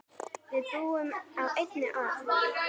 Við búum á einni jörð.